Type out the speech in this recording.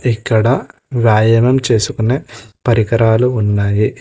ఇక్కడ రాయడం చేసుకునే పరికరాలు ఉన్నాయి.